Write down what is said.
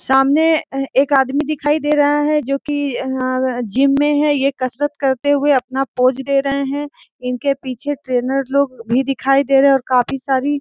सामने अ एक आदमी दिखाई दे रहा है जो कि अऽ जिम में है ये कसरत करते हुए अपना पोज दे रहे हैं इनके पीछे ट्रेनर लोग भी दिखाई दे रहे हैं और काफी सारी --